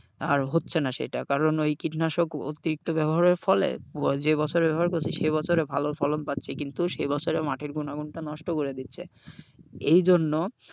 আর হচ্ছে না সেটা কারণ ওই কীটনাশক অতিরিক্ত ব্যবহারের ফলে যে বছর ব্যবহার করছি সে বছরে ভালো ফলন পাচ্ছি কিন্তু সেই বছরে মাটির গুণাগুণটা নষ্ট করে দিচ্ছে। এইজন্য,